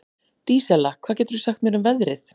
Dísella, hvað geturðu sagt mér um veðrið?